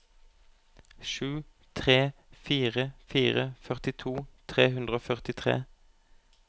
sju tre fire fire førtito tre hundre og førtitre